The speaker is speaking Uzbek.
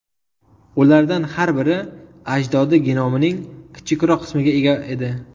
Ulardan har biri ajdodi genomining kichikroq qismiga ega edi.